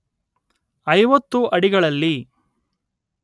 ಐವತ್ತು ಅಡಿಗಳಲ್ಲಿ